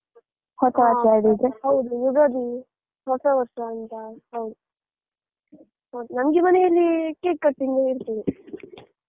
ಹೌದು ಯುಗಾದಿ ಹೊಸ ವರ್ಷ ಅಂತ, ಹೌದು ಹ ನಮಗೆ ಮನೆಯಲ್ಲಿ cake cutting ಇರ್ತದೆ.